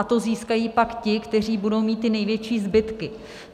A to získají pak ti, kteří budou mít ty největší zbytky.